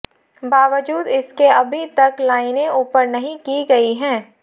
बावजूद इसके अभी तक लाइनें ऊपर नहीं की गई हैं